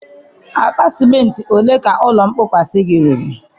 Akpa simenti ole ka ụlọ nkpọkwasị gị riri?